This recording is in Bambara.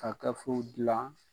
Ka gafew gilan